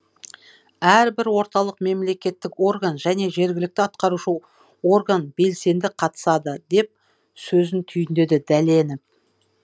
әрбір орталық мемлекеттік орган және жергілікті атқарушы орган белсенді қатысады деп сөзін түйіндеді дәленов